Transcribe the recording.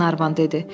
Qlenarvan dedi.